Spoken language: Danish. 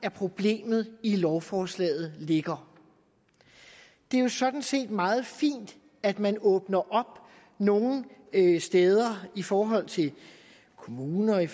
af problemet i lovforslaget ligger det er jo sådan set meget fint at man åbner op nogle steder i forhold til kommunerne